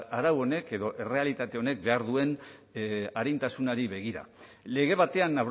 arau honek edo errealitate honek behar duen arintasunari begira lege batean